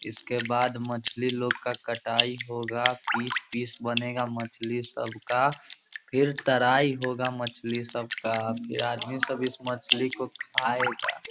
इसके बाद मछली लोग का कटाई होगा पीस पीस बनेगा मछली सब का फिर तरई होगा मछली सब का फिर आदमी सब इस मछली को खाएगा।